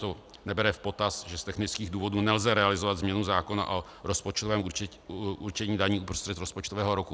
To nebere v potaz, že z technických důvodů nelze realizovat změnu zákona o rozpočtovém určení daní uprostřed rozpočtového roku.